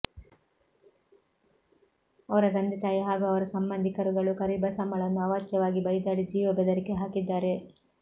ಅವರ ತಂದೆ ತಾಯಿ ಹಾಗೂ ಅವರ ಸಂಬಂಧಿಕರುಗಳು ಕರಿಬಸಮ್ಮಳನ್ನು ಅವಾಚ್ಯವಾಗಿ ಬೈದಾಡಿ ಜೀವ ಬೆದರಿಕೆ ಹಾಕಿದ್ದಾರೆ